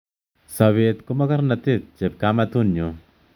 Sobet ko mokornotet chepkamatunyun